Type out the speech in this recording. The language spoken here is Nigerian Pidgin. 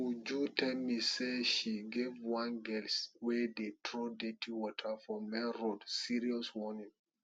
uju tell me say she give one girl wey dey throw dirty water for main road serious warning